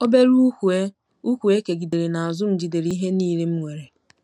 Obere ùkwù e ùkwù e kegidere n'azụ m jidere ihe niile m nwere.